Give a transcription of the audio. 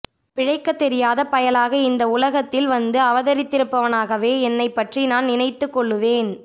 பிழைக்கத் தெரியாத பயலாக இந்த உலகத்தில் வந்து அவதரித்திருப்பவனாகவே என்னைப்பற்றி நான் நினைத்துக்கொள்ளுவேன்